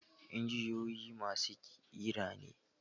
Injiniyoyi masu ƙira ne.